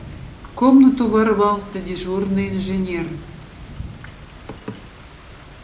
в комнату ворвался дежурный инженер